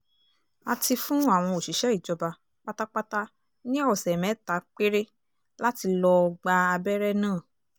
a ti fún àwọn òṣìṣẹ́ ìjọba pátápátá ní ọ̀sẹ̀ mẹ́ta péré láti lọ́ọ́ gba abẹ́rẹ́ náà